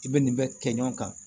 I bɛ nin bɛɛ kɛ ɲɔgɔn kan